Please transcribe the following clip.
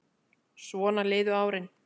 Svona liðu árin.